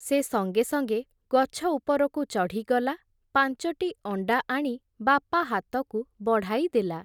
ସେ ସଙ୍ଗେ ସଙ୍ଗେ ଗଛ ଉପରକୁ ଚଢ଼ିଗଲା, ପାଞ୍ଚଟି ଅଣ୍ଡା ଆଣି ବାପା ହାତକୁ ବଢାଇ ଦେଲା ।